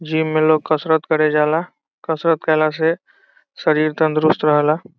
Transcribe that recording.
Gym में लोग कसरत करे जाला कसरत कैला से शरीर तंदुरुस्त रहेला।